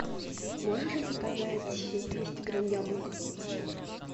можешь заказать двести грамм яблок